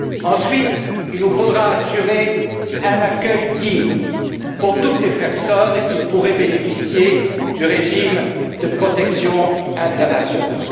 Ensuite, il nous faudra assurer un accueil digne pour toutes les personnes qui pourraient bénéficier du régime de protection internationale.